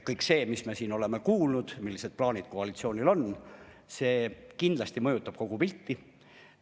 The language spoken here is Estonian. Kõik see, mis me siin oleme kuulnud, millised plaanid koalitsioonil on, kindlasti mõjutab kogu pilti.